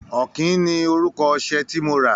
Ọ̀kín ni orúkọ ọṣẹ tí mo rà.